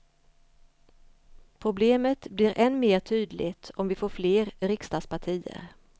Problemet blir än mer tydligt om vi får fler riksdagspartier.